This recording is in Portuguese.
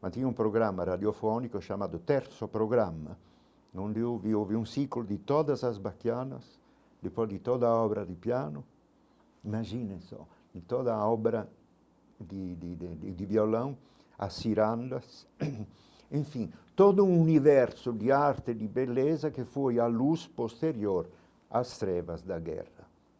mas tinha um programa radiofónico chamado Terço Programa, onde ouvia houve um ciclo de todas as baquianas, depois de toda a obra de piano, imagina só, de toda a obra de de de de violão, as cirandas, enfim, todo um universo de arte de beleza que foi à luz posterior às trevas da guerra.